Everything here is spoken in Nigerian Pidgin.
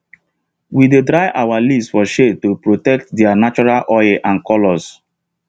we dey dry our leaves for shade to protect their natural oil and colour